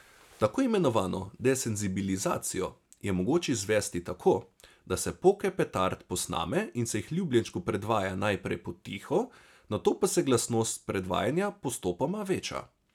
Tako imenovano desenzibilizacijo je mogoče izvesti tako, da se poke petard posname in se jih ljubljenčku predvaja najprej potiho, nato pa se glasnost predvajanja postopoma veča.